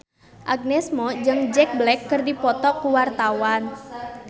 Agnes Mo jeung Jack Black keur dipoto ku wartawan